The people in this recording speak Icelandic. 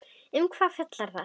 Um hvað fjallar það?